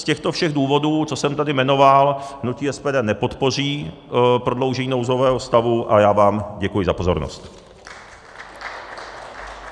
Z těchto všech důvodů, co jsem tady jmenoval, hnutí SPD nepodpoří prodloužení nouzového stavu a já vám děkuji za pozornost.